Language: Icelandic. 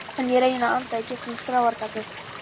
En ég reyni að anda í gegnum skráargatið.